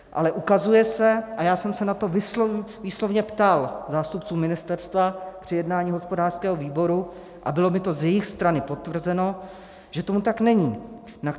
Ale ukazuje se, a já jsem se na to výslovně ptal zástupců ministerstva při jednání hospodářského výboru a bylo mi to z jejich strany potvrzeno, že tomu tak není.